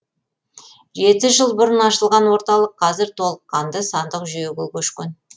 жеті жыл бұрын ашылған орталық қазір толыққанды сандық жүйеге көшкен